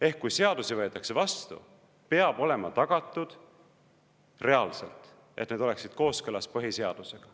Ehk kui seadusi võetakse vastu, peab olema tagatud reaalselt, et need oleksid kooskõlas põhiseadusega.